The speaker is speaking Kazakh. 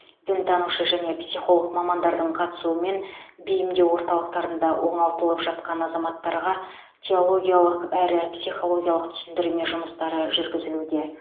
дінтанушы және психолог мамандардың қастысуымен бейімдеу орталықтарында оңалтылып жатқан азаматтарға теологиялық әрі психологиялық түсіндірме жұмыстары жүргізілуде